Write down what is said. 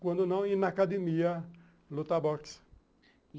Quando não, ir na academia, lutar boxe.